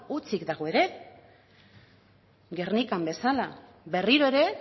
hutsik dago ere gernikan bezala berriro ere